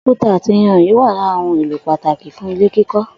Òkúta àti iyanrìn wà lára ohun èlò pàtàkì fún ilé kíkó̩